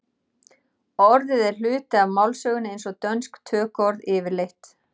orðið er hluti af málsögunni eins og dönsk tökuorð yfirleitt